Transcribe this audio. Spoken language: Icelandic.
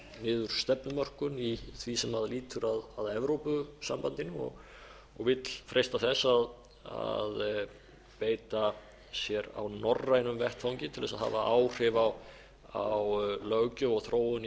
niður stefnumörkun í því sem lýtur að evrópusambandinu og vill freista þess að beita sér á norrænum vettvangi til þess að hafa áhrif á löggjöf og þróun í